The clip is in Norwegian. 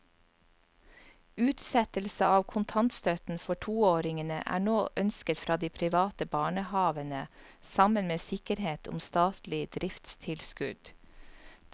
Utsettelse av kontantstøtten for toåringene er nå ønsket fra de private barnehavene sammen med sikkerhet om statlig driftstilskudd.